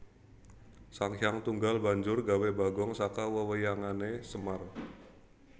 Sanghyang Tunggal banjur gawé bagong saka wewayangané Semar